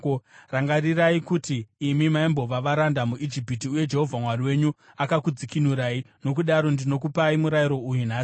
Rangarirai kuti imi maimbova varanda muIjipiti uye Jehovha Mwari wenyu akakudzikinurai. Nokudaro ndinokupai murayiro uyu nhasi.